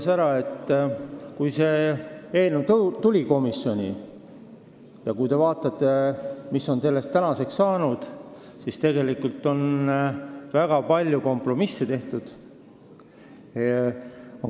Kui te vaatate, millisena see eelnõu tuli komisjoni ja mis on sellest tänaseks saanud, siis näete, et tegelikult on väga palju kompromisse tehtud.